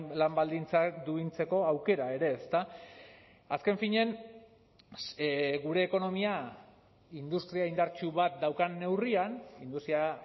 lan baldintzak duintzeko aukera ere ezta azken finean gure ekonomia industria indartsu bat daukan neurrian industria